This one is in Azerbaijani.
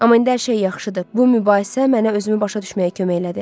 Amma indi hər şey yaxşıdır, bu mübahisə mənə özümü başa düşməyə kömək elədi.